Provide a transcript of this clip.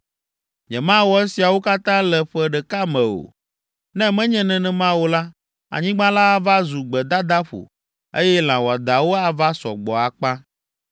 Nyemawɔ esiawo katã le ƒe ɖeka me o. Ne menye nenema o la, anyigba la ava zu gbedadaƒo, eye lã wɔadãwo ava sɔ gbɔ akpa.